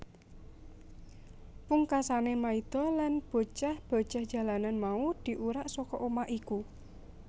Pungkasané Maida lan bocah bocah jalanan mau diurak saka omah iku